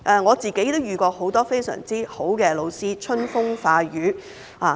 我個人也曾遇到很多非常優秀的老師，春風化雨。